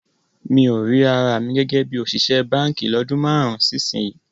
Mi ò rí ara mi gẹ́gẹ́ bí òṣìṣẹ́ báǹkì lọ́dún márùn-ún sí ìsinyìí